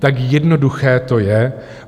Tak jednoduché to je.